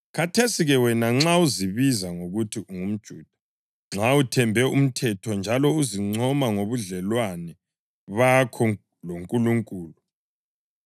Khathesi-ke wena, nxa uzibiza ngokuthi ungumJuda; nxa uthembe umthetho njalo uzincoma ngobudlelwane bakho loNkulunkulu;